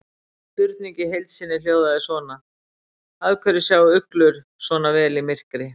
Spurningin í heild sinni hljóðaði svona: Af hverju sjá uglur sjá svona vel í myrkri?